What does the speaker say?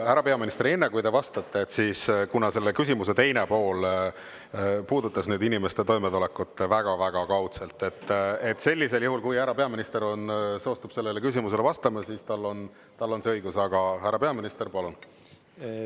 Härra peaminister, enne kui te vastate, siis kuna selle küsimuse teine pool puudutas nüüd inimeste toimetulekut väga-väga kaudselt, sellisel juhul, kui härra peaminister on, soostub sellele küsimusele vastama, siis tal on see õigus, aga, härra peaminister, palun!